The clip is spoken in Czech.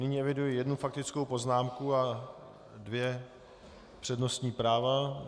Nyní eviduji jednu faktickou poznámku a dvě přednostní práva.